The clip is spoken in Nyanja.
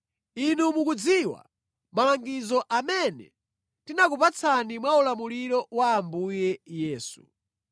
Inu mukudziwa malangizo amene tinakupatsani mwa ulamuliro wa Ambuye Yesu.